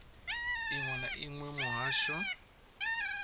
inwe na inwe ya muhasho